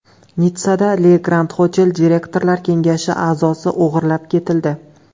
Nitssada Le Grand Hotel direktorlar kengashi a’zosi o‘g‘irlab ketildi.